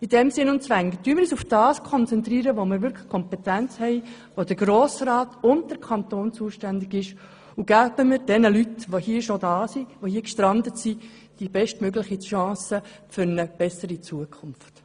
In diesem Sinn und Geist, konzentrieren wir uns auf das, wofür wir wirklich die Kompetenz haben, wofür der Grosse Rat und der Kanton zuständig sind, und geben wir den bereits hier gestrandeten Leuten die bestmögliche Chance für eine bessere Zukunft.